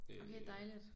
Okay dejligt